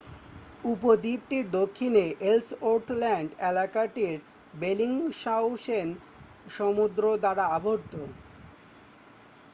উপদ্বীপটির দক্ষিণে Ellsworth land এলাকাটি Bellingshausen সমুদ্র দ্বারা আবদ্ধ